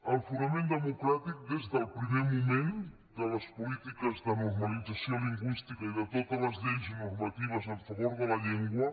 el fonament democràtic des del primer moment de les polítiques de normalització lingüística i de totes les lleis normatives en favor de la llengua